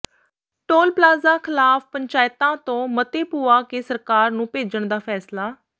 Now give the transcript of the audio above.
toll plaza ਖ਼ਿਲਾਫ਼ ਪੰਚਾਇਤਾਂ ਤੋਂ ਮਤੇ ਪੁਆ ਕੇ ਸਰਕਾਰ ਨੂੰ ਭੇਜਣ ਦਾ ਫੈਸਲਾ